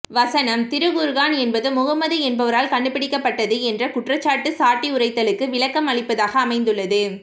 வசனம் திருக்குர்ஆன் என்பது முகமது என்பவரால் கண்டுபிடிக்கப்பட்டது என்ற குற்றச்சாட்டு சாட்டியுரைத்தலுக்கு விளக்கம் அளிப்பதாக அமைந்துள்ளது